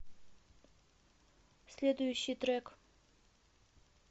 следующий трек